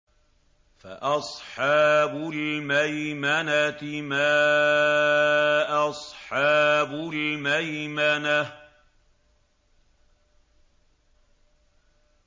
فَأَصْحَابُ الْمَيْمَنَةِ مَا أَصْحَابُ الْمَيْمَنَةِ